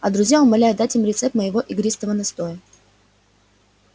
а друзья умоляют дать им рецепт моего игристого настоя